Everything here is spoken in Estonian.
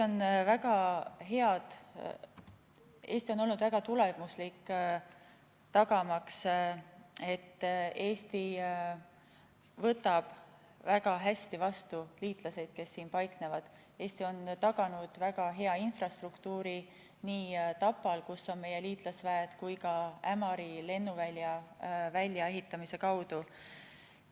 Eesti on olnud väga tulemuslik, Eesti võtab väga hästi vastu liitlaseid, kes siin paiknevad, ja Eesti on taganud väga hea infrastruktuuri nii Tapal, kus on meie liitlasväed, kui ka Ämari lennuvälja väljaehitamise kaudu.